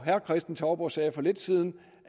herre kristen touborg sagde for lidt siden